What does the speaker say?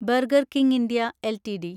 burger King India LTD